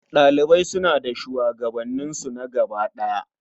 Ɗalibai suna da shugabansu na gaba ɗaya.